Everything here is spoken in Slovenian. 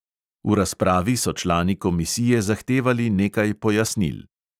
V razpravi so člani komisije zahtevali nekaj pojasnil.